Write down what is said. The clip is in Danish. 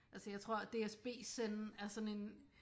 Altså jeg tror DSB zen er sådan en